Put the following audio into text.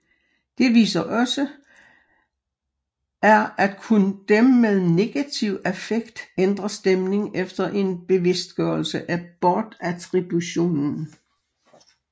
Det viser også er at kun dem med negativ affekt ændrer stemning efter en bevidstgørelse af bortattributionen